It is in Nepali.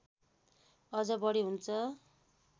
अझ बढी हुन्छ